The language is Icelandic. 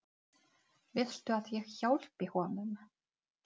Viltu að ég hjálpi honum?